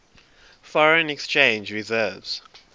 foreign exchange reserves